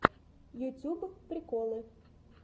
ютьюб приколы